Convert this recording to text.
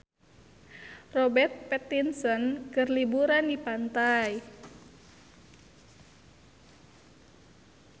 Robert Pattinson keur liburan di pantai